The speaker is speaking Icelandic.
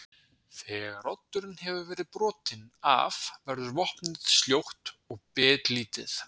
Þegar oddurinn hefur verið brotinn af verður vopnið sljótt og bitlítið.